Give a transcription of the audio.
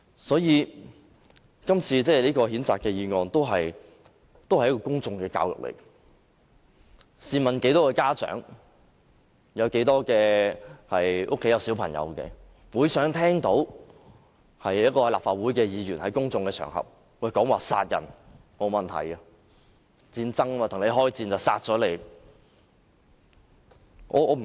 所以，今次的譴責議案也是一種公眾教育，試問有多少家長會想聽到立法會議員在公眾場合說殺人無問題，因為戰爭，與人開戰便要殺人？